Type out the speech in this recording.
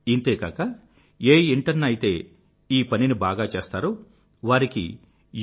ఇంతేకాక ఏ ఇంటర్న్ అయితే ఈ పనిని బాగా చేస్తారో వారికి యు